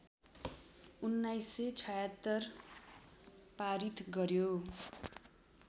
१९७६ पारित गर्‍यो